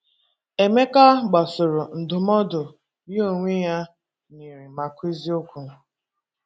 Emeka gbasoro ndụmọdụ ya onwe ya nyere ma kwuo eziokwu.